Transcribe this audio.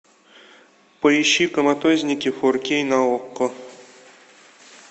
поищи коматозники фор кей на окко